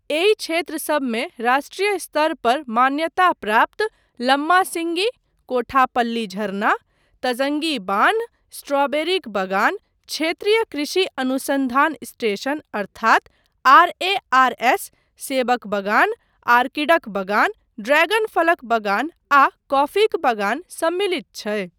एहि क्षेत्रसबमे राष्ट्रीय स्तर पर मान्यता प्राप्त लम्मासिंगी, कोठापल्ली झरना, तजंगी बान्ह, स्ट्रॉबेरीक बगान, क्षेत्रीय कृषि अनुसन्धान स्टेशन अर्थात आरएआरएस, सेबक बगान, आर्किडक बगान, ड्रैगन फलक बगान आ कॉफीक बगान सम्मिलित छै।